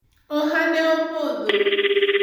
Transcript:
ohande opodho